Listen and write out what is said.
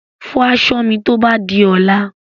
Fọ aṣọ mi tó bá di ọ̀la.